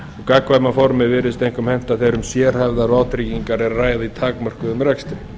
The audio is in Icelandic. gagnkvæma formið virðist einkum henta þegar um sérhæfðar vátryggingar er að ræða í takmörkuðum rekstri